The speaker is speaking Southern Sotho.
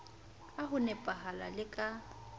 ka ho nepahala le ka